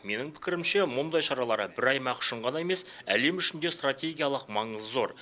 менің пікірімше мұндай шаралар бір аймақ үшін ғана емес әлем үшін де стратегиялық маңызы зор